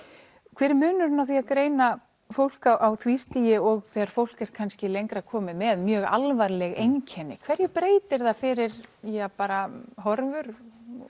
hver er munurinn á því að greina fólk á því stigi og þegar fólk er kannski lengra komið með mjög alvarleg einkenni hverju breytir það fyrir bara horfur